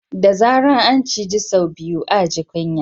Da zarar an ciji sau biyu a ji kunya